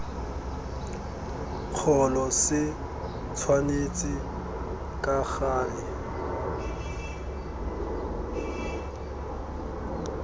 kgolo se tshwanetse ka gale